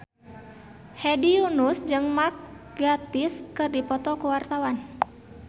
Hedi Yunus jeung Mark Gatiss keur dipoto ku wartawan